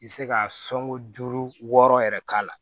I bɛ se ka sɔnko duuru wɔɔrɔ yɛrɛ k'a la